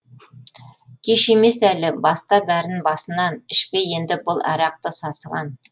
кеш емес әлі баста бәрін басынан ішпе енді бұл арақты сасыған